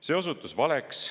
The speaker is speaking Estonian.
See osutus valeks.